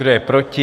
Kdo je proti?